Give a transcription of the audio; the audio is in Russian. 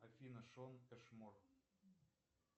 афина шон эшмор